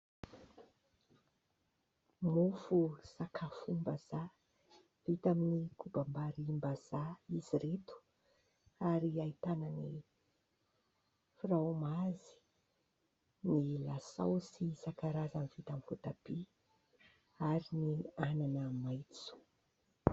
Mofo sakafom-bazaha vita amin'ny kobam-barimbazaha izy ireto ary ahitana ny frômazy, ny lasaosy isan-karazany vita amin'ny voatabia ary ny anana maitso.